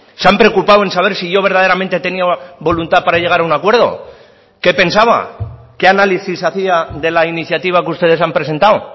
se han preocupado en saber si yo verdaderamente tenía voluntad para llegar a un acuerdo qué pensaba qué análisis hacía de la iniciativa que ustedes han presentado